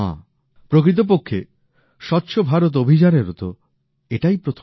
প্রকৃতপক্ষে স্বচ্ছ ভারত অভিযানের ও তো এটাই প্রথম সংকল্প